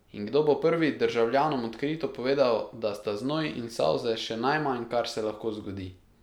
In kdo bo prvi državljanom odkrito povedal, da sta znoj in solze še najmanj, kar se lahko zgodi?